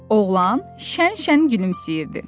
Oğlan şən-şən gülümsəyirdi.